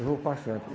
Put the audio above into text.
Eu vou para Santos.